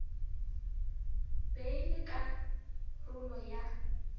be e le karolo ya